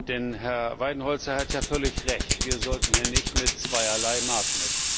Denn Herr Weidenholzer hat ja völlig Recht Wir sollten hier nicht mit zweierlei Maß messen.